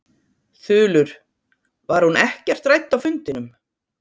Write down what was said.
Þulur: Var hún ekkert rædd á fundinum?